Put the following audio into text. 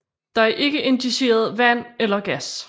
Der er ikke injiceret vand eller gas